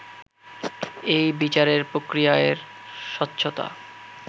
এই বিচারের প্রক্রিয়া এর স্বচ্ছতা